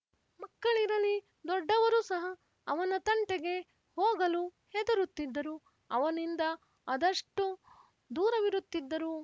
ಮಕ್ಕಳಿರಲಿ ದೊಡ್ಡವರು ಸಹ ಅವನ ತಂಟೆಗೆ ಹೋಗಲು ಹೆದರುತ್ತಿದ್ದರು ಅವನಿಂದ ಅದಷ್ಟು ದೂರವಿರುತ್ತಿದ್ದರು